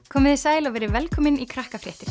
komiði sæl og verið velkomin í